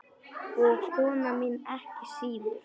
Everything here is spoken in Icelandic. Og kona mín ekki síður.